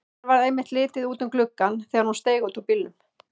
Mér varð einmitt litið út um gluggann þegar hún steig út úr bílnum.